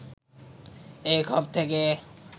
এই ক্ষোভ থেকে